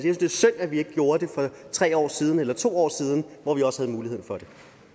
synd at vi ikke gjorde det for tre år siden eller to år siden hvor vi også havde muligheden for det